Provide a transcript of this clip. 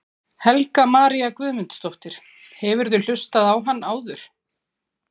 Helga María Guðmundsdóttir: Hefurðu hlustað á hann áður?